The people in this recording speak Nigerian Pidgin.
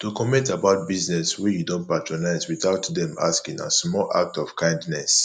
to comment about business wey you don patronise without dem asking na small act of kindness